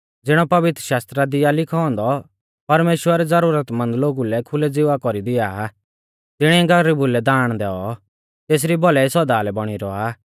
ज़िणौ पवित्रशास्त्रा दी आ लिखौ औन्दौ परमेश्‍वर ज़ुरतमंद लोगु लै खुलै ज़िवा कौरी दिया आ तिणिऐ गरीबु लै दाण दैऔ तेसरी भौलाई सौदा लै बौणी रौआ